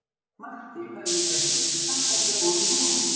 Matti bauð mér að gista og bjó um rúm fyrir mig.